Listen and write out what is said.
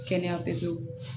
Kɛnɛya pewu